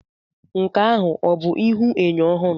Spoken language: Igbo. Nke ahụ ọ bụ ihuenyo ọhụrụ?